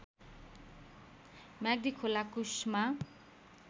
म्याग्दी खोला कुश्मा